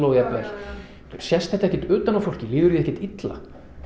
jafnvel sést þetta ekkert utan á fólki líður því ekkert illa